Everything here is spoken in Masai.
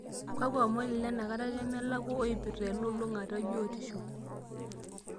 kakua omon ilenakata nemelakua oipirta elulung'ata ebiotisho